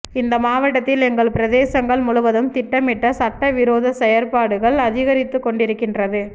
இந்த மாவட்டத்தில் எங்கள் பிரதேசங்கள் முழுவதும் திட்டமிட்ட சட்டவிரோ செயற்பாடுகள் அதிகரித்துக்கொண்டிருக்கின்றது